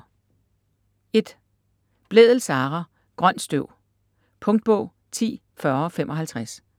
Blædel, Sara: Grønt støv Punktbog 104055